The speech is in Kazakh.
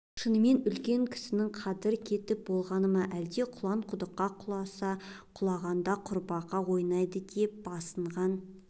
шынымен үлкен кісінің қадыры кетіп болғаны ма әлде құлан құдыққа құласа құлағында құрбақа ойнайды деп басынған